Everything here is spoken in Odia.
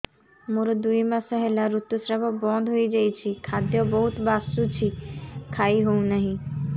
ମୋର ଦୁଇ ମାସ ହେଲା ଋତୁ ସ୍ରାବ ବନ୍ଦ ହେଇଯାଇଛି ଖାଦ୍ୟ ବହୁତ ବାସୁଛି ଖାଇ ହଉ ନାହିଁ